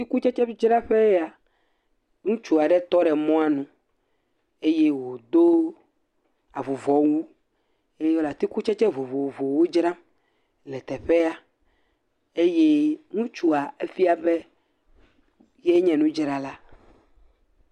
Atikutsetsedzraƒee ya. Ŋutsu aɖe tɔ ɖe mɔnu eye wòdo avuvɔwu eye wòle atikutsetse vovovowo dzram le teƒea. Eye ŋutsua efia be yae nye nudzrala.